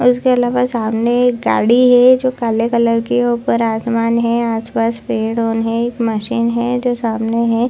और इसके अलावा सामने एक गाड़ी है जो काले कलर की है ऊपर आसमान है आस-पास पेड़ उन है एक मशीन है जो सामने है।